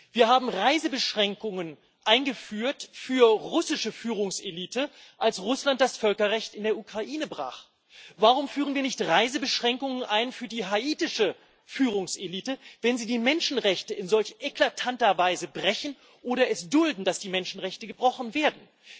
Wir haben Reisebeschränkungen eingeführt für die russische Führungselite, als Russland das Völkerrecht in der Ukraine brach. Warum führen wir nicht Reisebeschränkungen ein für die haitische Führungselite, wenn sie die Menschenrechte in solch eklatanter Weise bricht oder es duldet, dass die Menschenrechte gebrochen werden?